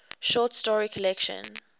short story collection